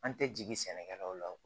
An tɛ jigin sɛnɛkɛlaw la